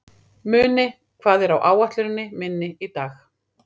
Muni, hvað er á áætluninni minni í dag?